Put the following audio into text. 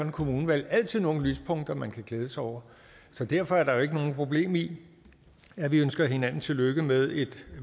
et kommunevalg altid nogle lyspunkter man kan glæde sig over så derfor er der ikke noget problem i at vi ønsker hinanden tillykke med et